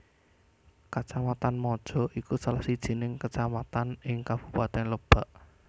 Kacamatan Maja iku salah sijining kacamatan ing Kabupatèn Lebak